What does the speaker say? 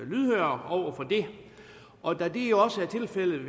lydhøre over for det og da det jo også er tilfældet i